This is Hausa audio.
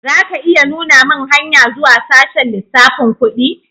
Za ka iya nuna mun hanya zuwa sashen lissafin kudi?